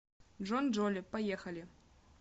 джонджоли поехали